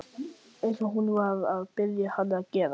Eins og hún var að biðja hann að gera.